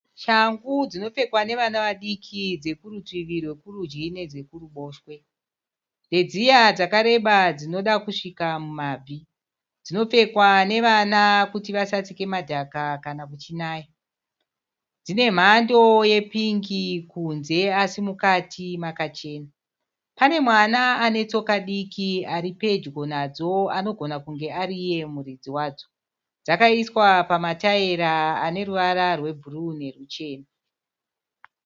Shangu dzinopfekwa nevana vadiki dzekurutivi rwekurudyi nedzekuruboshwe. Ndedziya dzakareba dzinoda kusvika mumabvi. Dzinopfekwa nevana kuti vasatsike madhaka kana kuchinaya. Dzine mhando yepingi kunze asi mukati makachena. Pane mwana ane tsoka diki ari pedyo nadzo anogona kunge ari iye muridzi wadzo. Dzakaiswa matayira ane ruvara rwebhuru neruchena.